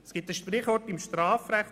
Es gibt im Strafrecht ein Sprichwort: